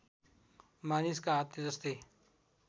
मानिसका हातले जस्तै